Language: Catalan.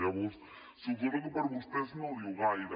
llavors suposo que a vostès no els diu gaire